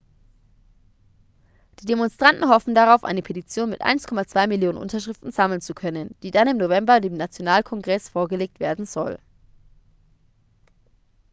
die demonstranten hoffen darauf eine petition mit 1,2 millionen unterschriften sammeln zu können die dann im november dem nationalkongress vorgelegt werden soll